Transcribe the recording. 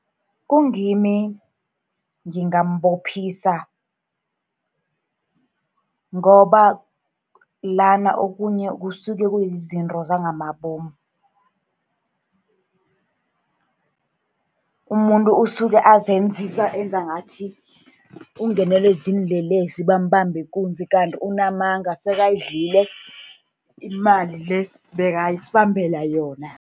Kungimi ngingambophisa, ngoba lana okhunye kusuke kuzizinto zangamabomu. Umuntu usuke azenzisa, enza ngathi ungenelwe ziinlelesi, bambambe ikunzi. Kanti unamanga, sekayidlile imali le ebekasibambela yona.